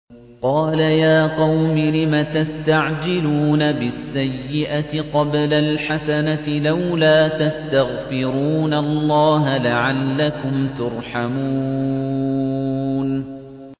قَالَ يَا قَوْمِ لِمَ تَسْتَعْجِلُونَ بِالسَّيِّئَةِ قَبْلَ الْحَسَنَةِ ۖ لَوْلَا تَسْتَغْفِرُونَ اللَّهَ لَعَلَّكُمْ تُرْحَمُونَ